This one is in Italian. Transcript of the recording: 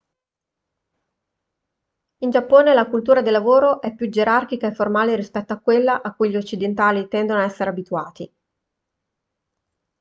in giappone la cultura del lavoro è più gerarchica e formale rispetto a quella a cui gli occidentali tendono ad essere abituati